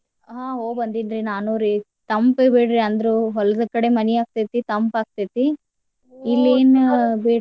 ಹಾ ಹೋಗಿ ಬಂದೆನ್ರಿ ನಾನುರಿ ತಂಪ್ ಬಿಡ್ರಿ ಅಂದ್ರು ಹೊಲ್ದ ಕಡೆ ಮನಿ ಆಗ್ತೈತಿ ತಂಪ್ ಆಗ್ತೈತಿ. .